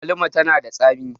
agwaluma tana da tsami